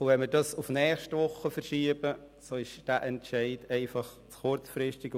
Wenn wir das Traktandum auf die nächste Woche verschieben, ist dies einfach zu kurzfristig.